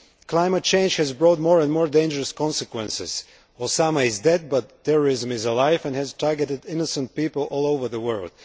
Climate change has brought more and more dangerous consequences. Osama is dead but terrorism is alive and has targeted innocent people all over the world.